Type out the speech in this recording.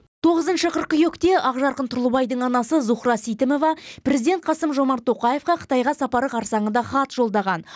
тоғызыншы қыркүйекте ақжарқын тұрлыбайдың анасы зухра сейтімова президент қасым жомарт тоқаевқа қытайға сапары қарсаңында хат жолдаған